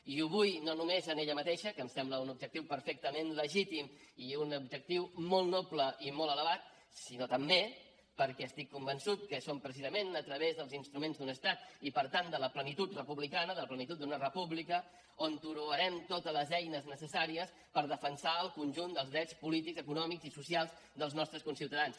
i ho vull no només per ella mateixa que em sembla un objectiu perfectament legítim i un objectiu molt noble i molt elevat sinó també perquè estic convençut que és precisament a través dels instruments d’un estat i per tant de la plenitud republicana de la plenitud d’una república que trobarem totes les eines necessàries per defensar el conjunt dels drets polítics econòmics i socials dels nostres conciutadans